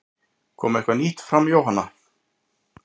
Kom eitthvað nýtt fram Jóhanna?